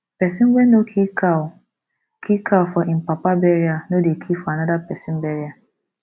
pesin wey no kill cow kill cow for im papa burial no dey kill for another pesin burial